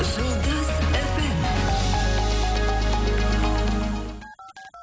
жұлдыз эф эм